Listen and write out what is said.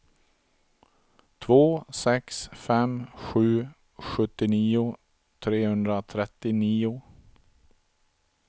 två sex fem sju sjuttionio trehundratrettionio